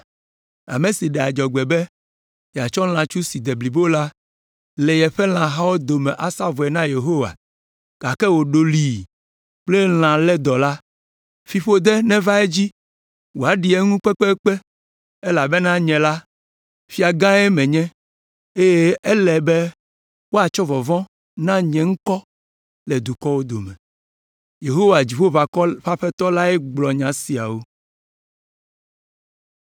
Ame si ɖe adzɔgbe be yeatsɔ lãtsu si de blibo le yeƒe lãhawo dome asa vɔe na Yehowa gake wòɖɔlii kple lã lédɔ la, fiƒode neva edzi wòaɖi eŋu kpekpekpe elabena nye la, Fiagãe menye eye ele be woatsɔ vɔvɔ̃ na nye ŋkɔ le dukɔwo dome.” Yehowa, Dziƒoʋakɔwo ƒe Aƒetɔ lae gblɔ nya siawo.